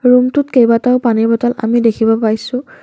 ৰুমটোত কেইবাটাও পানীৰ বটল আমি দেখিব পাইছোঁ।